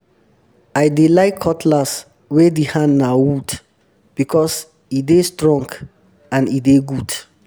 i dey like cutlass wey di hand na wood because e dey strong and e dey good